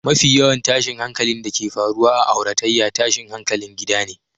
Mafi yawan tashin hankalin da ke faruwa a auratayya, tashin hankalin gida ne